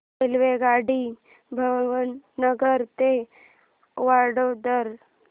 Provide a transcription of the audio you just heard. रेल्वेगाडी भावनगर ते वडोदरा